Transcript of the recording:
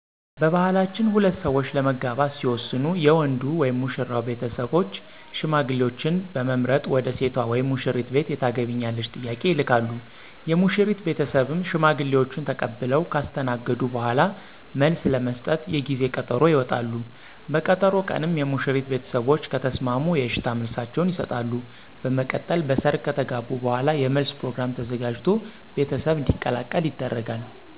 በባህላችን ሁለት ሠዎች ለመጋባት ሲወስኑ የወንዱ (ሙሽራው ) ቤተሰቦች ሽማግሌዎችን በመምረጥ ወደ ሴቷ (ሙሽሪት) ቤት የታገቢኛለሽ ጥያቄ ይልካሉ፤ የሙሽሪት ቤተሰብም ሽማግሌዎችን ተቀብለው ካስተናገዱ በኋላ መልስ ለመስጠት የጊዜ ቀጠሮ ይወጣሉ፤ በቀጠሮ ቀንም የሙሽሪት ቤተሰቦች ከተሰማሙ የእሽታ መልሳቸውን ይሠጣሉ፤ በመቀጠል በሰርግ ከተጋቡ በኋላ የመለስ ፕሮግራም ተዘጋጅቶ ቤተሰብ እንዲቀላቀል ይደረጋል።